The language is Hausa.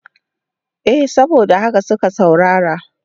Eh saboda haka suke saurara.